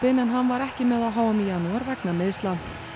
en hann var ekki með á h m í janúar vegna meiðsla